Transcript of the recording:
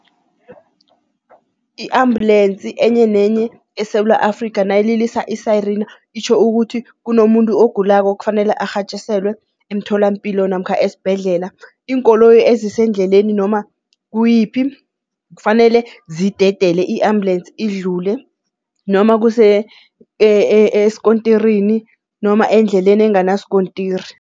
I-ambulensi enye nenye eSewula Afrikha nayililisa isayirina itjho ukuthi kunomuntu ogulako okufanele arhatjiselwe emtholampilo namkha esibhedlela. Iinkoloyi ezisendleleni noma kuyiphi kufanele zidedele i-ambulance idlule noma kuse eskontirini noma endleleni enganaskontiri.